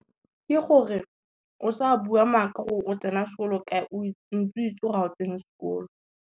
Ke gore, o sa bua maaka gore o tsena sekolo kae o ntse o itse gore ga o tsene sekolo.